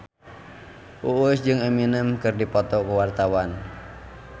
Uus jeung Eminem keur dipoto ku wartawan